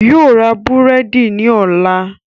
Yóò ra búrẹ́dì ní ọ̀la